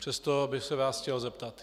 Přesto bych se vás chtěl zeptat.